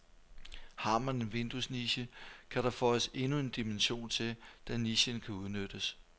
Har man en vinduesniche, kan der føjes endnu en dimension til, da nichen kan udnyttes.